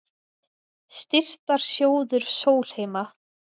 Styrktarsjóður Sólheima